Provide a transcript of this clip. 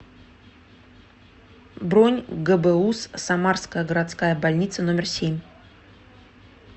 бронь гбуз самарская городская больница номер семь